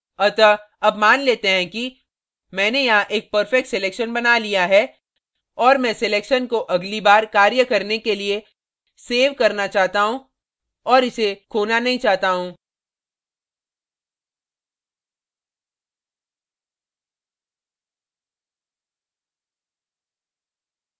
अतः अब मान लेते हैं कि मैंने यहाँ एक perfect selection बना लिया है और मैं selection को अगली बार कार्य करने के लिए so करना चाहता हूँ और इसे खोना नहीं चाहता हूँ